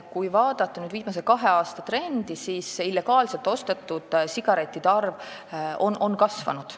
Kui vaadata viimase kahe aasta trendi, siis illegaalselt ostetud sigarettide arv on kasvanud.